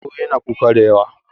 sauro yana kuka da yawa